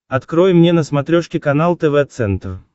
открой мне на смотрешке канал тв центр